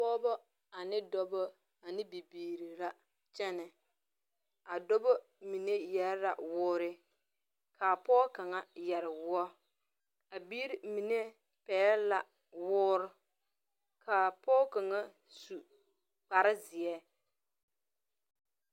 Pɔgba ane dɔba ane bibiiri la kyene a dɔba mene yere la wuuri ka a pou kang yere wuo a biiri mene pɛgle la wuori kaa poɔ kang su kpare zeɛ.